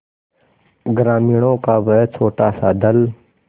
ग्रामीणों का वह छोटासा दल